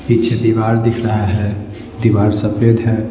पीछे दीवार दिख रहा है दीवार सफेद है।